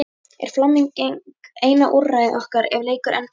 Er framlenging eina úrræði okkar ef leikur endar í jafntefli?